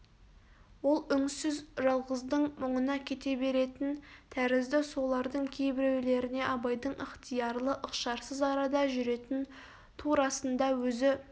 ол үңсіз жалғыздың мұңына кете беретін тәрізді солардың кейбіреулеріне абайдың ықтиярлы ықшарсыз арада жүретін турасында өзі